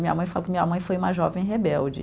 Minha mãe que minha mãe foi uma jovem rebelde.